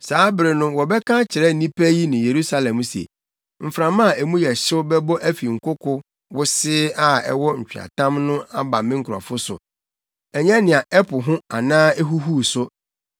Saa bere no wɔbɛka akyerɛ nnipa yi ne Yerusalem se, “Mframa a emu yɛ hyew bɛbɔ afi nkoko wosee a ɛwɔ nweatam so aba me nkurɔfo so, ɛnyɛ nea ɛpo ho anaa ehuhuw so;